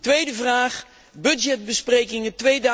Tweede vraag budgetbesprekingen